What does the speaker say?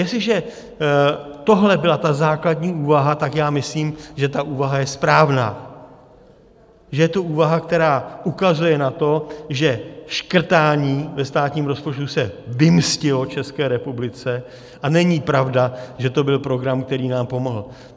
Jestliže tohle byla ta základní úvaha, tak já myslím, že ta úvaha je správná, že je to úvaha, která ukazuje na to, že škrtání ve státním rozpočtu se vymstilo České republice, a není pravda, že to byl program, který nám pomohl.